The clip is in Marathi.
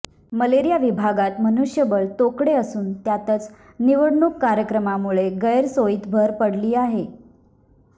मलेरिया विभागात मनुष्यबळ तोकडे असून त्यातच निवडणूक कार्यक्रमामुळे गैरसोयीत भर पडली आहे